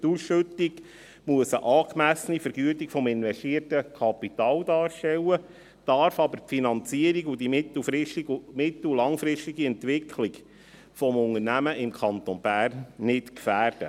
Die Ausschüttung muss eine angemessene Vergütung des investierten Kapitals darstellen, darf aber die Finanzierung und die mittel- und langfristige Entwicklung des Unternehmens im Kanton Bern nicht gefährden.